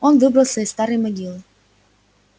он выбрался из старой могилы